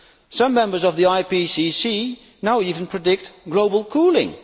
Some members of the IPCC now even predict global cooling.